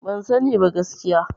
Ban sani ba gaskiya.